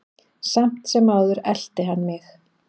Samt sem áður elti hann mig.